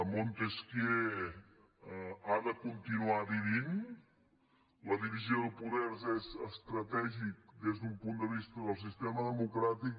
montesquieu ha de continuar vivint la divisió de poders és estratègica des d’un punt de vista del sistema democràtic